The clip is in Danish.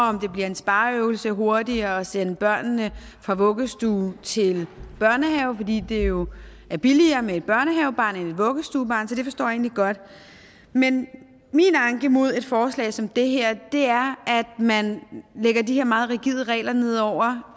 om det bliver en spareøvelse hurtigere at sende børnene fra vuggestue til børnehave fordi det jo er billigere med et børnehavebarn end et vuggestuebarn så det forstår jeg egentlig godt men min anke mod forslaget som det her er at man lægger de her meget rigide regler ned over